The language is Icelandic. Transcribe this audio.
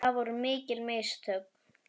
Það voru mikil mistök.